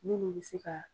Minnu bɛ se ka